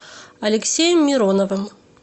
алексеем мироновым